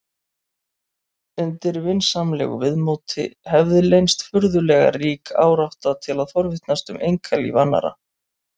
Undir vinsamlegu viðmóti hefði leynst furðulega rík árátta til að forvitnast um einkalíf annarra.